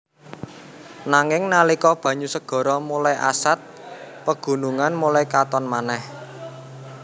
Nanging nalika banyu segara mulai asad pegunungan mulai katon manèh